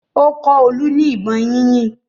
Ó kọ́ Olú ní ìbọn yínyìn.